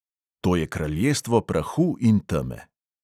To je kraljestvo prahu in teme.